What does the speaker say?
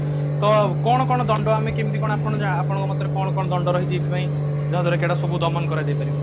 ତ କଣ କଣ ଦଣ୍ଡ ଆମେ କେମତି କଣ ଆପଣ ଆପଣଙ୍କ ମତରେ କଣ କଣ ଦଣ୍ଡ ରହିଛି ଏଇଥି ପାଇଁ ଯାହାଦ୍ୱାରା କି ଏଗୁଡା ସବୁ ଦମନ କରାଯାଇ ପାରିବ